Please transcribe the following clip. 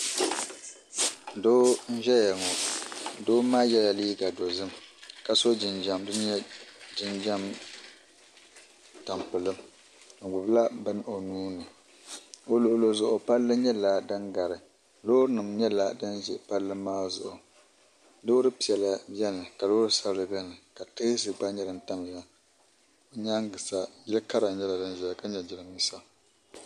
Doo n ʒɛya ŋɔ doo maa nyɛla ŋun yɛ liiga dozim ka so jinjɛm din nyɛ jinjɛm tampilim o gbibi la bini o nuuni o luɣuli zuɣu palli nyɛla din gari loori nima nyɛla din ʒɛ palli maa zuɣu loori piɛla beni ka loori sabla beni ka tezi gba nyɛ din tamya di nyaaga sa yɛkara nyɛla nyɛla din zaya ka nyɛ jirambisa.